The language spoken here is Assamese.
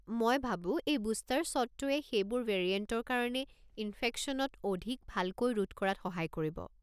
মই ভাবো এই বুষ্টাৰ শ্বটটোৱে সেইবোৰ ভেৰিয়েণ্টৰ কাৰণে ইনফেকশ্যনত অধিক ভালকৈ ৰোধ কৰাত সহায় কৰিব।